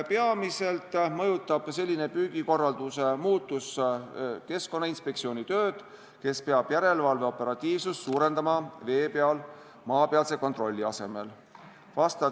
Peamiselt mõjutab selline püügikorralduse muutus Keskkonnainspektsiooni tööd, kes peab suurendama järelevalve operatiivsust vee peal maapealse kontrolli asemel.